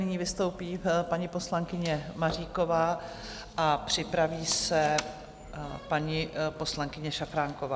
Nyní vystoupí paní poslankyně Maříková a připraví se paní poslankyně Šafránková.